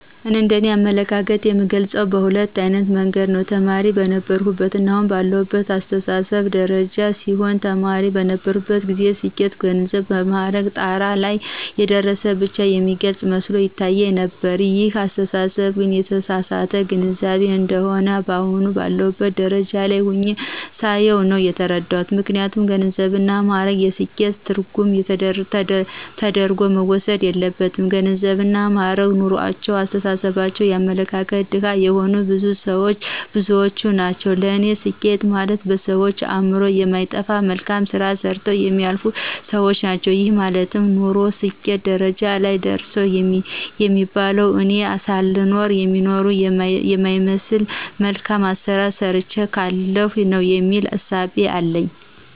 እንደ እኔ አመለካከት የምገልጸው በሁለት አይነት መንገድ ነው። ተማሪ በነበርሁበትና አሁን ባለሁበት አስተሳሰብ ደረጃ ሲሆን ተማሪ በነበርሁበት ጊዜ ስኬት በገንዘብና በማዕረግ ጣራ ላይ የደረሰ ብቻ የሚገልፅ መስሎ ይታየኝ ነበር ይህን አስተሳሰብ ግን የተሳሳተ ግንዛቤ እንደሆነ አሁን ባለሁበት ደረጃ ላይ ሁኘ ሳየው ነው የተረዳሁት። ምክንያቱም ገንዘብና ማእረግ የስኬት ትርጉም ተደርጎ መወሰድ የለበትም ገንዘብና ማእረግ ኑሮአቸው የአስተሳሰብና የአመለካከት ድሀ የሆኑ ብዙዎች ናቸው ለኔ ስኬት ማለት በሰዎች አእምሮ የማይጠፋ መልካም ስራ ሰርተው የሚያልፉ ሰዎች ናቸው። ይሄ ማለት ኖርሁ ስኬት ደረጃ ላይ ደረሰሁ የሚባለው እኔ ሳልኖር የሚኖር የማይረሳ መልካም ስራ ሰርቸ ካለፍሁ ነው የሚል እሳቤ አለኝ።